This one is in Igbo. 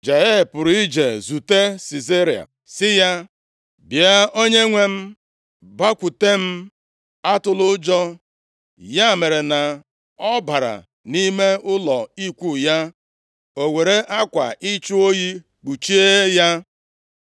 Jael pụrụ ije zute Sisera sị ya, “Bịa Onyenwe m, bakwute m. Atụla ụjọ.” Ya mere na ọ bara nʼime ụlọ ikwu ya, o weere akwa ịchụ oyi kpuchie ya.